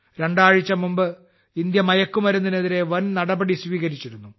രണ്ടാഴ്ച മുമ്പ് ഇന്ത്യ മയക്കുമരുന്നിനെതിരെ വൻ നടപടി സ്വീകരിച്ചിരുന്നു